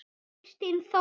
Kristín Þóra.